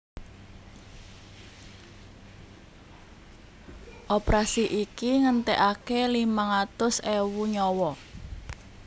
Operasi iki ngentèkaké limang atus ewu nyawa